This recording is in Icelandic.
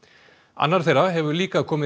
annar þeirra hefur líka komið